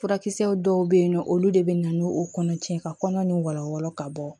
Furakisɛw dɔw bɛ yen nɔ olu de bɛ na n'o kɔnɔ cɛ ye ka kɔnɔ ni walawala ka bɔ